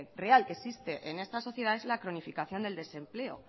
real que existe en esta sociedad es la cronificación del desempleo